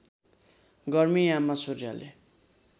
गर्मी याममा सूर्यले